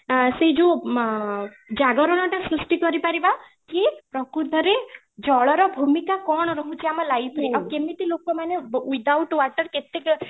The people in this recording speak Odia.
ଅଂ ସେଇ ଯୋଉ ମ ଜାଗରଣଟା ସୃଷ୍ଟି କରି ପାରିବା କି ପ୍ରକୃତ ରେ ଜଳର ଭୂମିକା କ'ଣ ରହୁଛି ଆମ life ରେ ଆଉ କେମିତି ଲୋକ without water